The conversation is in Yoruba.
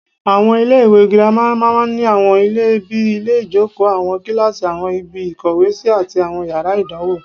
Àwọn iléèwé girama ní àwọn ilé bíi ilé-ìjókòó, àwọn kíláàsì, àwọn ibi ìkówèésí, àti àwọn yàrá ìdánwò